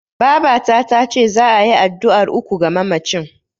Babata tace za'a yi addu'ar uku ga mamacin.